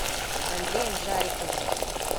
андреем жариковым